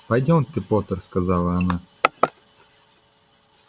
пойдёмте поттер сказала она